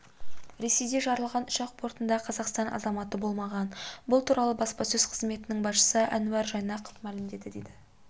ресейде жарылған ұшақ бортында қазақстан азаматы болмаған бұл туралы баспасөз қызметінің басшысы әнуар жайнақов мәлімдеді деп